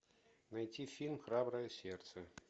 найти фильм храброе сердце